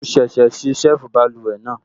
Mo ṣẹ̀ṣẹ̀ ṣe ṣẹ́ẹ̀fù báluwẹ̀ náà